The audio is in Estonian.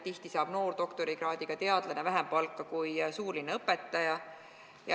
Tihti saab noor doktorikraadiga teadlane vähem palka kui suurlinna õpetaja.